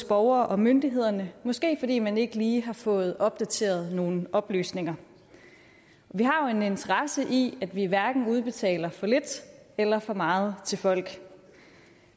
borgere og myndigheder måske fordi man ikke lige har fået opdateret nogle oplysninger vi har en interesse i at vi hverken udbetaler for lidt eller for meget til folk